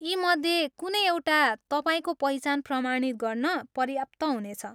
यीमध्ये कुनै एउटा तपाईँको पहिचान प्रमाणित गर्न पर्याप्त हुनेछ।